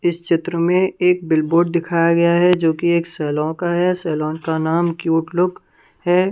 इस चित्र में एक बिलबोर्ड दिखाया गया है जो कि एक सैलो का है सेलोन का नाम क्यूट लुक है ।